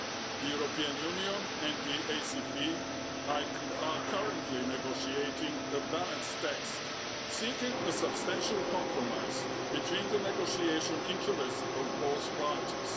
The European Union and the ACP are currently negotiating a balanced text seeking a substantial compromise between the negotiation interests of both parties.